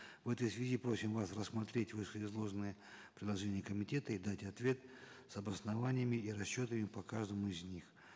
в этой связи просим вас рассмотреть вышеизложенные предложения комитета и дать ответ с обоснованиями и расчетами по каждому из них